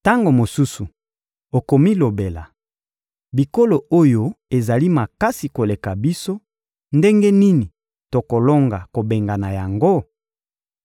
Tango mosusu okomilobela: «Bikolo oyo ezali makasi koleka biso, ndenge nini tokolonga kobengana yango?»